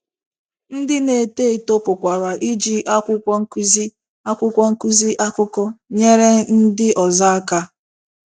Ndị na - eto eto pụkwara iji akwụkwọ nkụzi akwụkwọ nkụzi akụkọ nyere ndị ọzọ aka.